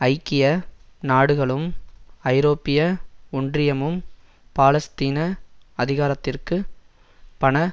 ஐக்கிய நாடுகளும் ஐரோப்பிய ஒன்றியமும் பாலஸ்தீன அதிகாரத்திற்கு பண